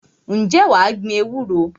Ǹjẹ́ wà á gbin ewúro?